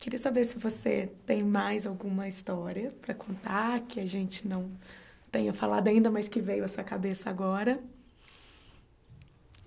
Queria saber se você tem mais alguma história para contar, que a gente não tenha falado ainda, mas que veio à sua cabeça agora.